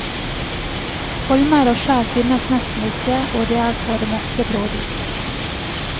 Holmer og skjær finnes nesten ikke, og det er for det meste brådypt.